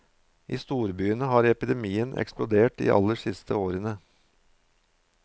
I storbyene har epidemien eksplodert de aller siste årene.